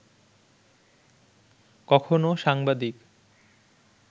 কখনো সাংবাদিক